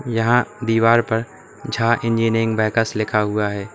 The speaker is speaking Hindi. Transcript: यहां दीवार पर झा इंजीनियरिंग वर्क्स लिखा हुआ है।